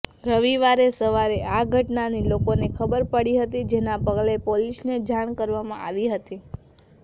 રવિવારે સવારે આ ઘટનાની લોકોને ખબર પડી હતી જેના પગલે પોલીસને જાણ કરવામાં આવી હતી